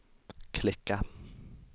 klicka